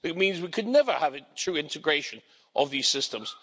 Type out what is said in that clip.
It means that we could never have a true integration of these systems.